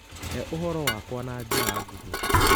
hee ũhoro wakwa na njĩra nguhĩ